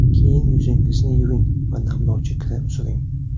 Keyin yuzingizni yuving va namlovchi krem suring.